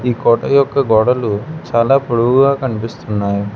ఈ కోట యొక్క గోడలు చాలా పొడవుగా కనిపిస్తున్నాయి.